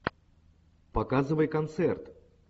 показывай концерт